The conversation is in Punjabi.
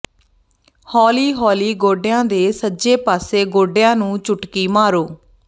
ਹੌਲੀ ਹੌਲੀ ਗੋਡਿਆਂ ਦੇ ਸੱਜੇ ਪਾਸੇ ਗੋਡਿਆਂ ਨੂੰ ਚੁਟਕੀ ਮਾਰੋ